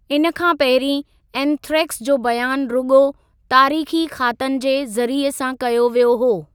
हिन खां पहिरीं एंथ्रैक्स जो बयानु रुगो॒ तारीख़ी ख़ातनि जे ज़रिये सां कयो वियो हो।